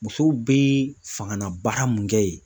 Musow bɛ fangabaara mun kɛ yen